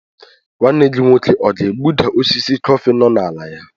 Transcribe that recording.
Nwanne gị nwoke ọ ga-egbuda osisi kọfị nọ n'ala ya?